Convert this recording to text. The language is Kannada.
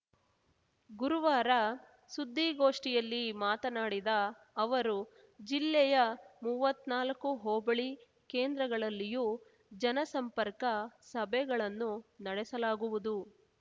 ಗುರುವಾರ ಸುದ್ದಿಗೋಷ್ಠಿಯಲ್ಲಿ ಮಾತನಾಡಿದ ಅವರು ಜಿಲ್ಲೆಯ ಮೂವತ್ನಾಲ್ಕು ಹೋಬಳಿ ಕೇಂದ್ರಗಳಲ್ಲಿಯೂ ಜನಸಂಪರ್ಕ ಸಭೆಗಳನ್ನು ನಡೆಸಲಾಗುವುದು